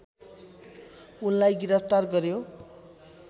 उनलाई गिरफ्तार गर्‍यो